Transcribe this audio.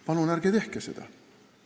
Palun ärge tehke seda!